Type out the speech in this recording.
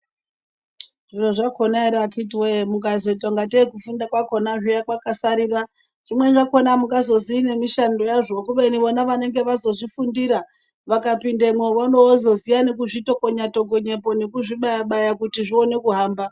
Zvikora zvakona here vakiti woyo ukazoita ngateyi kufunda kwakona peya kwakasarira zvimweni zvakona hamuzozivi nemushando wazvo kubeni vona vanonga vazozvifundira vakapindemwo vorovozoziva kutokonya tokonya po nekuzvibaya bayapo kuti zvione kuhamba.